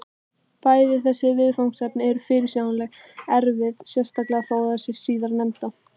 Bæði þessi viðfangsefni eru fyrirsjáanlega erfið, sérstaklega þó það síðarnefnda.